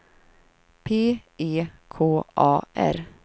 P E K A R